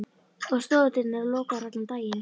Og stofudyrnar eru lokaðar allan daginn.